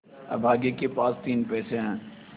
अभागे के पास तीन पैसे है